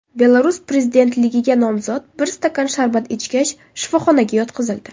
Belarus prezidentligiga nomzod bir stakan sharbat ichgach shifoxonaga yotqizildi.